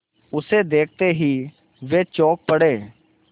उसे देखते ही वे चौंक पड़े